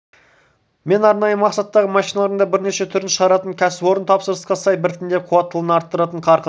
мен арнайы мақсаттағы машиналардың да бірнеше түрін шығаратын кәсіпорын тапсырысқа сай біртіндеп қуаттылығын арттырып қарқын